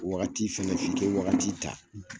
Wagati fɛnɛ bi ke wagati ta